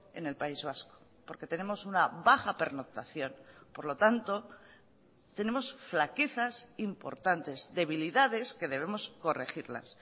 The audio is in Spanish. en el país vasco porque tenemos una baja pernoctación por lo tanto tenemos flaquezas importantes debilidades que debemos corregirlas